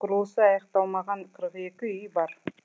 сондай ақ құрылысы аяқталмаған қырық екі үй бар